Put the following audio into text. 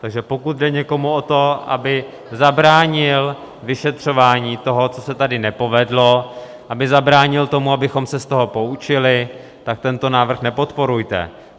Takže pokud jde někomu o to, aby zabránil vyšetřování toho, co se tady nepovedlo, aby zabránil tomu, abychom se z toho poučili, tak tento návrh nepodporujte.